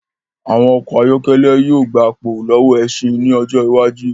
Àwọn ọkọ ayọ́kẹ́lẹ̀ yìí ó gbà pò lọ́wọ́ ẹṣin ín ọjọ́ iwájú